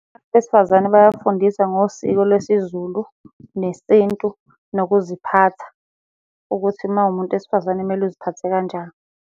Abesifazane bayafundiswa ngosiko lwesiZulu nesintu, nokuziphatha, ukuthi uma uwumuntu wesifazane kumele uziphathe kanjani.